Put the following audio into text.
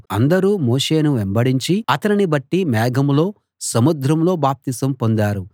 అందరూ మోషేను వెంబడించి అతనిని బట్టి మేఘంలో సముద్రంలో బాప్తిసం పొందారు